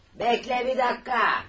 Gözlə bir dəqiqə.